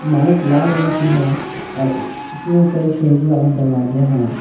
इमारत लाल रंग की है और इसमें कई खिड़कियां और दरवाजे हैं।